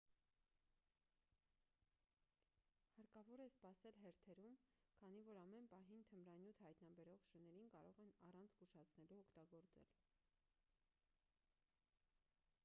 հարկավոր է սպասել հերթերում քանի որ ամեն պահին թմրանյութ հայտնաբերող շներին կարող են առանց զգուշացնելու օգտագործել